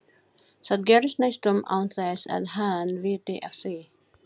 Það gerist næstum án þess að hann viti af því.